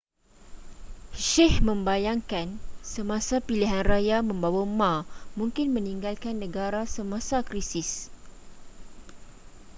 hsieh membayangkan semasa pilihan raya bahawa ma mungkin meninggalkan negara semasa krisis